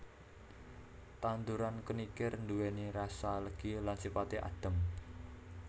Tanduran kenikir nduwèni rasa legi lan sifaté adhem